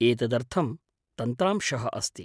एतदर्थं तन्त्रांशः अस्ति।